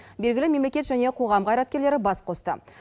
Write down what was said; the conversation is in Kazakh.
белгілі мемлекет және қоғам қайраткерлері бас қосты